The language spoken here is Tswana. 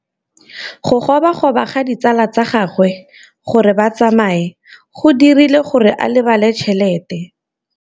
Go gobagobetsa ga ditsala tsa gagwe, gore ba tsamaye go dirile gore a lebale tšhelete.